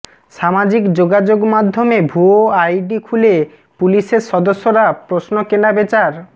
সামাজিক যোগাযোগমাধ্যমে ভুয়া আইডি খুলে পুলিশের সদস্যরা প্রশ্ন কেনাবেচার